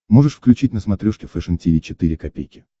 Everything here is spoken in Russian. можешь включить на смотрешке фэшн ти ви четыре ка